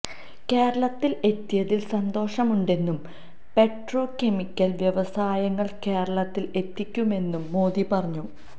കേരളത്തില് എത്തിയതില് സന്തോഷമുണ്ടെന്നും പെട്രോ കെമിക്കല് വ്യവസായങ്ങള് കേരളത്തില് എത്തിക്കുമെന്നും മോദി പറഞ്ഞു